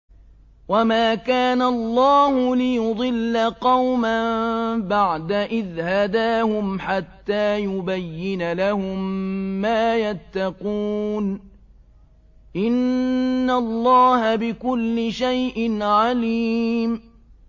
وَمَا كَانَ اللَّهُ لِيُضِلَّ قَوْمًا بَعْدَ إِذْ هَدَاهُمْ حَتَّىٰ يُبَيِّنَ لَهُم مَّا يَتَّقُونَ ۚ إِنَّ اللَّهَ بِكُلِّ شَيْءٍ عَلِيمٌ